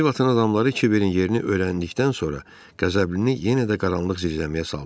Böyük Vətən adamları Kiberin yerini öyrəndikdən sonra Qəzəblini yenə də qaranlıq zindanə saldılar.